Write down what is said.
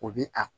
O bi a